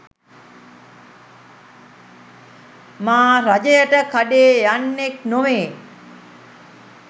මා රජයට කඩේ යන්නෙක් නොවේ.